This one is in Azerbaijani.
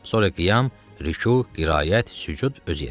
Sonra qiyam, rüku, qiraət, sücud öz yerində.